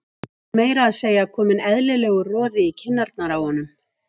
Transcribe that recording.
Það var meira að segja kominn eðlilegur roði í kinnarnar á honum.